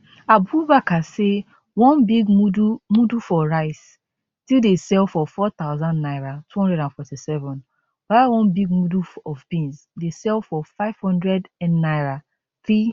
abubakar say one big mudu mudu for rice still dey sell for 4000 naira 247 while one big mudu of beans dey sell for 5000nnaira 3